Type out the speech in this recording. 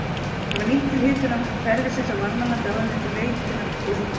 Það var nýtt til hitunar hverfisins á Varmalandi áður en til veitunnar um